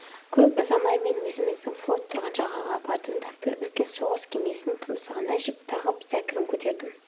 көп ұзамай мен өзіміздің флот тұрған жағаға бардым да бір үлкен соғыс кемесінің тұмсығына жіп тағып зәкірін көтердім